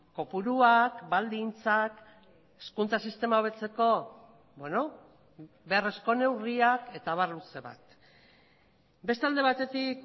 kopuruak baldintzak hezkuntza sistema hobetzeko beharrezko neurriak eta abar luze bat beste alde batetik